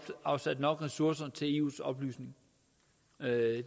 afsat nok ressourcer til eus oplysning det